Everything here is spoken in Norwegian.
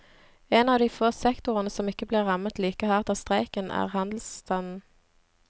En av de få sektorene som ikke blir rammet like hardt av streiken, er handelsstanden.